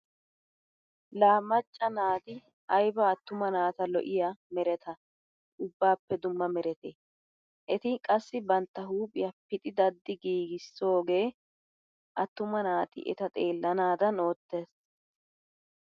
Laa macca naati ayba attuma naata lo'iya mereta ubbaappe dumma meretee. Eti qassi bantta huuphiya pixi daddi giigissoogee attuma naati eta xeellanaadan oottees.